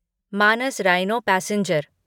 Manas rhino passenger